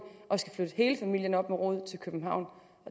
hele familien op med rode og flytte til københavn